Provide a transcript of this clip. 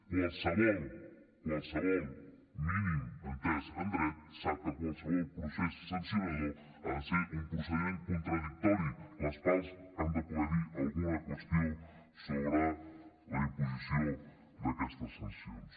qualsevol qualsevol mínim entès en dret sap que qualsevol procés sancionador ha de ser un procediment contradictori les parts han de poder dir alguna qüestió sobre la imposició d’aquestes sancions